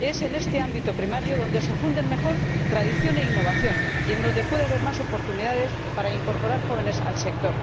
es en este ámbito primario donde se funden mejor tradición e innovación, y en donde puede haber más oportunidades para incorporar jóvenes al sector.